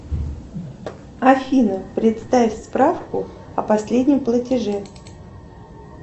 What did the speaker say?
афина представь справку о последнем платеже